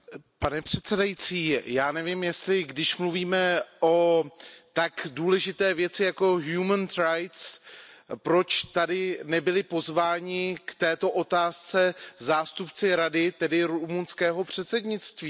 Pane předsedající, já nevím, jestli, když mluvíme o tak důležité věci jako proč tady nebyli pozvání k této otázce zástupci Rady, tedy rumunského předsednictví?